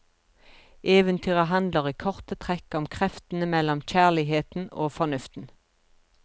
Eventyret handler i korte trekk om kreftene mellom kjærligheten og fornuften.